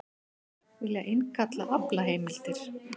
Vilja innkalla aflaheimildir